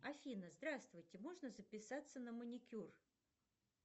афина здравствуйте можно записаться на маникюр